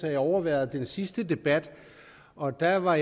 at jeg overværede den sidste debat og der var